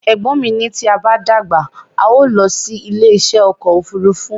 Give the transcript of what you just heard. Ẹ̀gbọ́n mi ní tí a bá dàgbà, a o lọ sí ilé isẹ́ ọkọ̀ òfúrúúfú